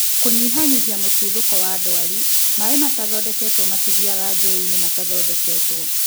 kũnyihanyihia mũtuthũko wa ndwari-maĩ matathondeketwo matithiaga njũĩinĩ matathondeketwo.